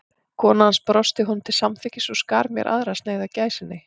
Kona hans brosti honum til samþykkis og skar mér aðra sneið af gæsinni.